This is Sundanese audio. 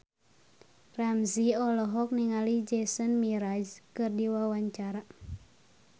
Ramzy olohok ningali Jason Mraz keur diwawancara